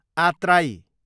आत्राई